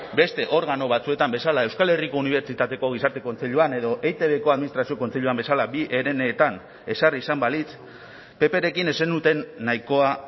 beste organo batzuetan bezala euskal herriko unibertsitateko gizarte kontseiluan edo eitbko administrazio kontseiluan bezala bi herenetan ezarri izan balitz pprekin ez zenuten nahikoa